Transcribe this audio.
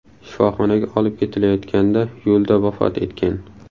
shifoxonaga olib ketilayotganda yo‘lda vafot etgan.